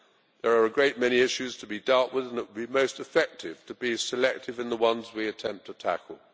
There are a great many issues to be dealt with and it would be most effective to be selective in the ones we attempt to tackle.